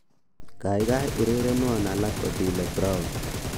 Kaikai urerenwon alak Otile Brown